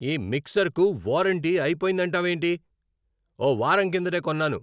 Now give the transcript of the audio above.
ఈ మిక్సర్కు వారంటీ అయిపొయిందంటావేంటి? ఓ వారం కిందటే కొన్నాను!